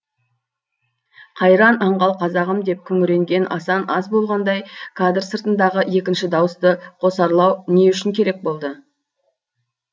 қайран аңғал қазағым деп күңіренген асан аз болғандай кадр сыртындағы екінші дауысты қосарлау не үшін керек болды